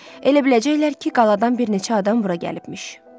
Elə biləcəklər ki, qaladan bir neçə adam bura gəlibmiş.